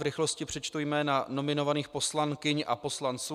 V rychlosti přečtu jména nominovaných poslankyň a poslanců.